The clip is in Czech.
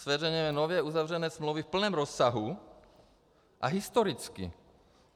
Zveřejňujeme nově uzavřené smlouvy v plném rozsahu a historicky.